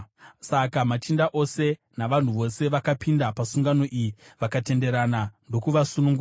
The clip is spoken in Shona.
Saka machinda ose navanhu vose vakapinda pasungano iyi, vakatenderana ndokuvasunungura.